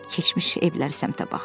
keçmiş evlər səmtə baxdı.